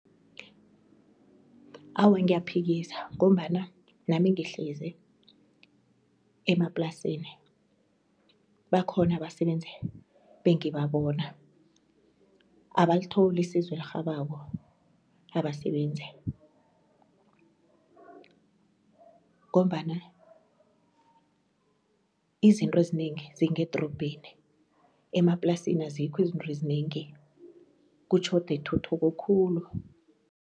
Awa ngiyaphikisa ngombana nami ngihlezi emaplasini, bakhona abasebenzi bengibabona abalitholi isizo elirhabako labasebenzi ngombana izinto ezinengi zingedrobheni, emaplasini azikho izintro zinengi kutjhoda ituthuko khulu.